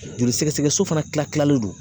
Joli sɛgɛsɛgɛso fana kila kila kilalen don